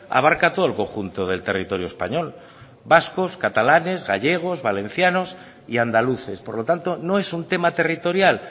abarca todo el conjunto del territorio español vascos catalanes gallegos valencianos y andaluces por lo tanto no es un tema territorial